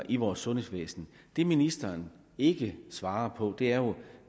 i vores sundhedsvæsen det ministeren ikke svarer på er jo